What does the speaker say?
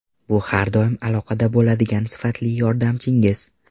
Bu har doim aloqada bo‘ladigan sifatli yordamchingiz.